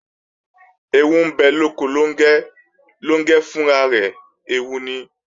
Ẹẹwu ń bẹ lóko Lóngẹ́, Lóngẹ́ fún ara rẹ̀ ẹẹwu ni